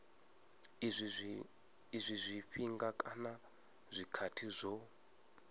izwi zwifhinga kana zwikhathi zwo